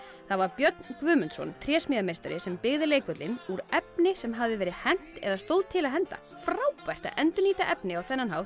það var Björn Guðmundsson trésmíðameistar sem byggði leikvöllinn úr efni sem hafði verið hent eða stóð til að henda frábært að endurnýta efni á þennan hátt